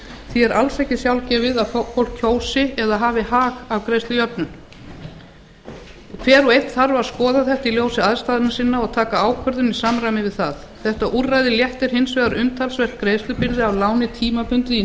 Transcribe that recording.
því er alls ekki sjálfgefið að fólk kjósi eða hafi hag af greiðslujöfnun hver og einn þarf að skoða þetta í ljósi aðstæðna sinna og taka ákvörðun í samræmi við það þetta úrræði léttir hins vegar umtalsvert greiðslubyrði af láni tímabundið í